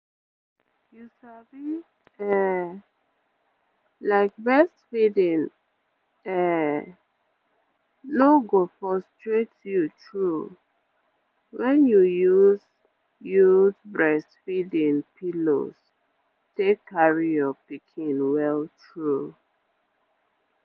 you sabi um like breastfeeding um no go frustrate you true when you use use breastfeeding pillows take carry your pikin well true